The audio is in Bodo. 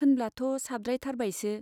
होनब्लाथ' साबद्रायथारबायसो।